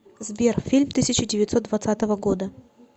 сбер фильм тысяча девятьсот двадцатого года